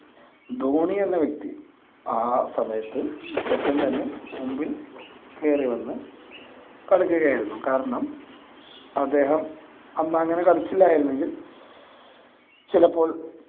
ധോണിയെന്ന വ്യക്തി ആ സമയത്ത് പെട്ടന്ന് തന്നെ മുമ്പിൽ കയറി വന്നു കളിക്കുകയായിരിന്നു, കാരണം അദ്ദേഹം അന്ന് അങ്ങനെ കളിച്ചില്ലായിരുന്നെങ്കിൽ ചിലപ്പോൾ